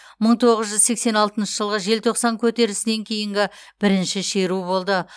мың тоғыз жүз сексен алтыншы жылғы желтоқсан көтерілісінен кейінгі бірінші шеру болды